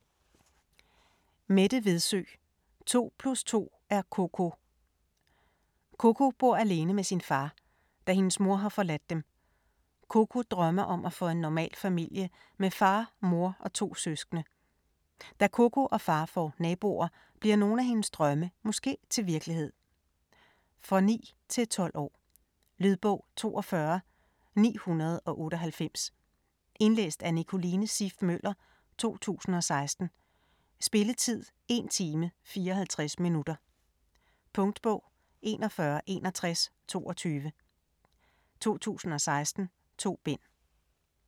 Vedsø, Mette: To plus to er Koko Koko bor alene med sin far, da hendes mor har forladt dem. Koko drømmer om at få en normal familie med far, mor og to søskende. Da Koko og far får naboer, bliver nogle af hendes drømme måske til virkelighed? For 9-12 år. Lydbog 42998 Indlæst af Nicoline Siff Møller, 2016. Spilletid: 1 time, 54 minutter. Punktbog 416122 2016. 2 bind.